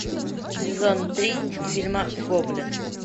сезон три фильма гоблин